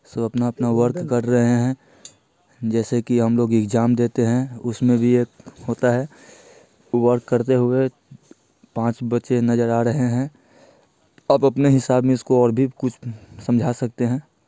सब अपना-अपना वर्क कर रहे हैं जैसे कि हम लोग एग्जाम देते हैं उसमें भी यह होता है| वर्क करते हुए पाँच बच्चे नजर आ रहे हैं| सब अपने हिसाब में इसको और भी कुछ समझा सकते हैं।